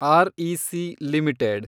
REC limited